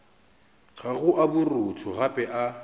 gago a borutho gape a